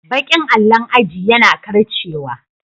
Baƙin allon aji yana karcewa.